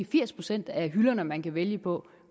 firs procent af hylderne man kan vælge på